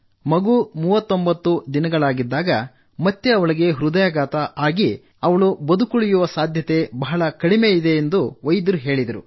ಮಗು 39 ದಿನದವಳಾಗಿದ್ದಾಗ ಮತ್ತೆ ಅವಳಿಗೆ ಹೃದಯಾಘಾತವಾಗಿದೆ ಅಲ್ಲದೆ ಅವಳ ಬದುಕುಳಿಯುವ ಸಂಭಾವ್ಯತೆ ಬಹಳ ಕಡಿಮೆ ಎಂದು ವೈದ್ಯರು ಹೇಳಿದರು